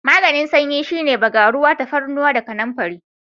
Maganin sanyi shine bagaruwa, tafarnuwa da kanamfari.